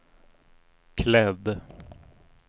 klädd